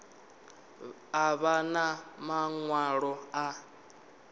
a vha na maṅwalo a